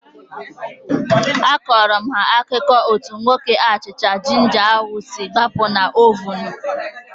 Akọrọ m ha akụkọ etu nwoke achịcha jinja ahu si gbapụ na ovunu